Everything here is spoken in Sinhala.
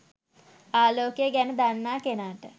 ආලෝකය ගැන දන්නා කෙනාට